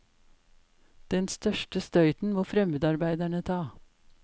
Den største støyten må fremmedarbeiderne ta.